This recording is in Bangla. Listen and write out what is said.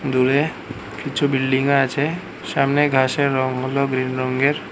দূরে কিছু বিল্ডিং আছে সামনে ঘাসের রং হল গ্রিন রঙ্গের।